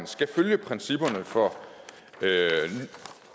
skal følge principperne for